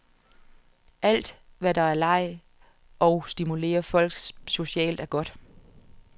Alt, hvad der er leg og og stimulerer folk socialt, er godt.